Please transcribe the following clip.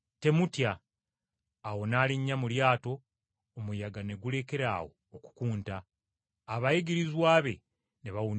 Awo n’alinnya mu lyato, omuyaga ne gulekeraawo okukunta! Abayigirizwa be ne bawuniikirira nnyo.